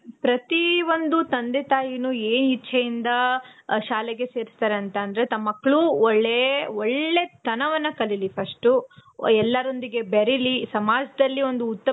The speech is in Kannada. ಪ್ರತಿ ಒಂದು ತಂದೆ ತಾಯಿನು ಇಚ್ಚೆ ಇಂದ ಶಾಲೆಗೆ ಸೇರಿಸ್ತಾರೆ ಅಂತ ಅಂದ್ರೆ ತಮ್ ಮಕ್ಳು ಒಳ್ಳೆ ಒಳ್ಳೆತನವನ್ನ ಕಲಿಲಿ first, ಎಲ್ಲರೊಂದಿಗೆ ಬೇರಿಲಿ ಸಮಾಜದಲ್ಲಿ ಒಂದು .